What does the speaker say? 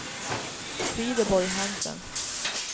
Frideborg Hansen